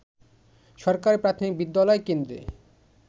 সরকারি প্রাথমিক বিদ্যালয় কেন্দ্রে